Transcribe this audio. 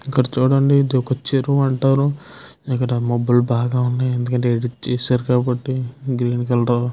ఇక్కడ చుడండి ఇది ఒక చెరువు అంటారు ఇక్కడ మబ్బులు బాగా ఉన్నాయి ఎందుకంటె ఎడిట్ చేసారు కాబ్బటి గ్రీన్ కలర్ --